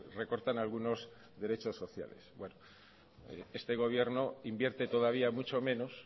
recortan algunos derechos sociales este gobierno invierte todavía mucho menos